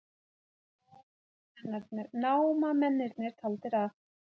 Námamennirnir taldir af